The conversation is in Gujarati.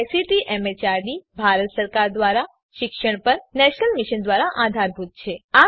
જે આઇસીટી એમએચઆરડી ભારત સરકાર દ્વારા શિક્ષણ પર નેશનલ મિશન દ્વારા આધારભૂત છે